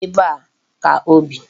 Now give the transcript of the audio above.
Ee, ebe a ka o bi.